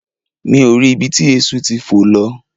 Mi ò rí ibi tí eéṣú ti fò lọ